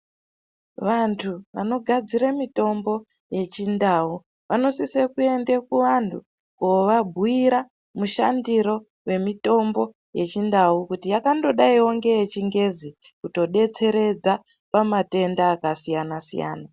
Vanthu vanogadzire mitombo yechindau vanosise kuende kuvanthu kovabhuyira mushandire yemitombo yechindau kuti yakangodaiwo ngeyechingezi kutodetseredza pamatenda akasiyana siyana.